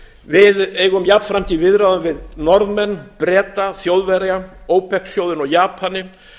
við eigum jafnframt í viðræðum við norðmenn breta þjóðverja opec sjóðinn og japani